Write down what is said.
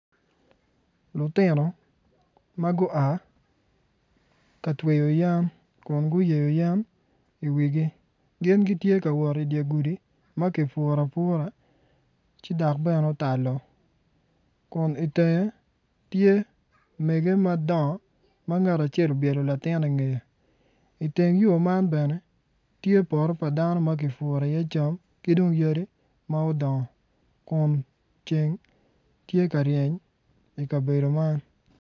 Lutino ma gua ka tweyo yen Kun gutweyo yen iwigi gin gitye ka wot idye gudi ma ki duru afura ci dok bene otalo Kun ingette tye megge madongo ma ngat acel obyelo latin ingeye iteng yo man bene tye poto pa dano ma ki duru iye cam ki dong yadi ma odongo Kun ceng tye ka reny I kabedo man